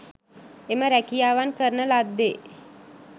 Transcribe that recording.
එම රැකියාවන් කරන ලද්දේ